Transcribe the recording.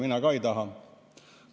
Mina ka ei taha.